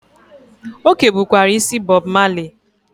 O kebukwara isi Bob Marley.